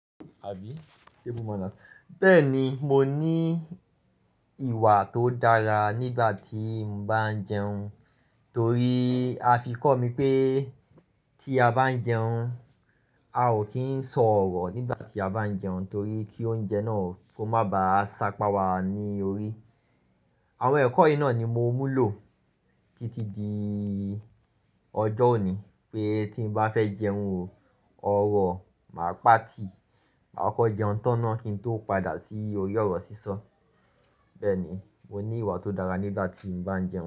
Bẹ́ẹ̀ni, mo ní ìwà tó dára nígbà tí mo bá ń jẹun torí a fi kọ́ mi pé tí a bá ń jẹun, a ò kí ń sọ ọ̀rọ̀ nígbà tí a bá ń jẹun torí kí oúnjẹ náà kó má ba à sápa wa ní orí. Àwọn ẹ̀kọ́ yìí náà ni mo mú lò títí di ọjọ́ òní pé tí mo bá fẹ́ jẹun, ọ̀rọ̀ máa pa tì, máa kọ jẹun tán náà kí n tó padà sí ori ọ̀rọ̀ sísọ. Bẹ́ẹ̀ni, mo ní ìwà tó dára nígbà tí mo bá ń jẹun.